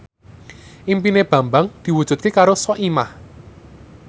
impine Bambang diwujudke karo Soimah